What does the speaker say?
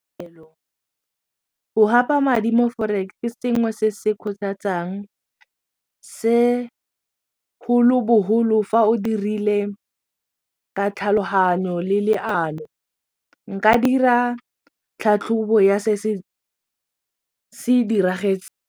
Go gapa madi mo forex ke sengwe se se kgothatsang segolobogolo fa o dirile ka tlhaloganyo le leano nka dira tlhatlhobo ya se se diragetseng.